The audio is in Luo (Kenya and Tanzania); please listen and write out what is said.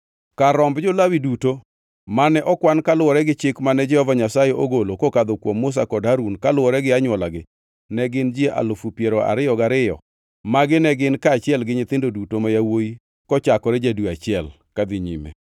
Kar romb jo-Lawi duto mane okwan kaluwore gi chik mane Jehova Nyasaye ogolo kokadho kuom Musa kod Harun kaluwore gi anywolagi ne gin ji alufu piero ariyo gariyo (22,000), magi ne gin kaachiel gi nyithindo duto ma yawuowi kochakore ja-dwe achiel kadhi nyime.